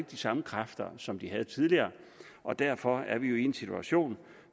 de samme kræfter som de havde tidligere og derfor er vi jo i en situation